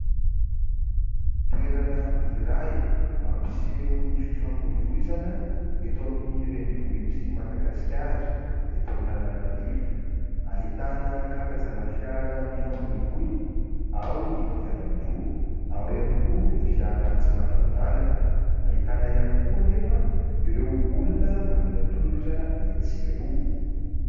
Toerana iray mampiseho ny fifamoivoizana eto amin'ny renivohitr'i Madagasikara, eto Antananarivo. Ahitana karazana fiara mifamoivoy, ao ny kodiran-droa, ao ihany koa ny fiara tsy mataho-dalana, ahitana ihany koa anefa ireo olona mandeha tongotra etsy sy eroa.